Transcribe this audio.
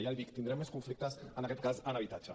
ja l’hi dic tindrem més conflictes en aquest cas en habitatge